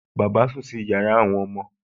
Bàbá sùn sí yàrá àwọn ọmọ